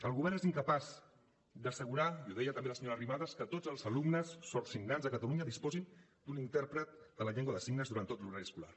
el govern és incapaç d’assegurar i ho deia també la senyora arrimadas que tots els alumnes sord signants a catalunya disposin d’un intèrpret de la llengua de signes durant tot l’horari escolar